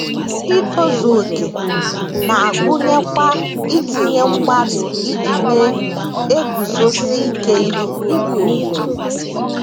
Itozu okè na - agụnyekwa itinye mgbalị iji na - eguzosi ike ihe.